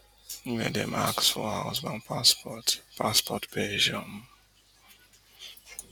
wia dem ask for her husband passport passport page um